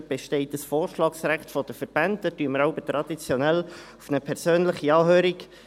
Es besteht ein Vorschlagsrecht der Verbände, und wir verzichten traditionell auf eine persönliche Anhörung.